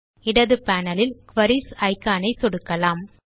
இடது பேனல் லில் queries icon இல் சொடுக்கலாம்